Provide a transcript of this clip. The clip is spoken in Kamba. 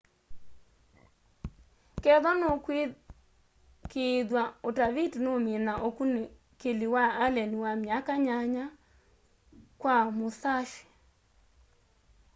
kethwa nukwikiithwa utaviti nuumina ukunikili wa allen wa myaka nyanya kwa musashi